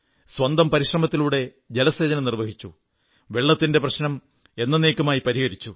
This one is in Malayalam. സ്വന്തം പരിശ്രമത്തിലൂടെ ജലസേചനം നിർവ്വഹിച്ചു വെള്ളത്തിന്റെ പ്രശ്നം എന്നന്നേക്കുമായി പരിഹരിച്ചു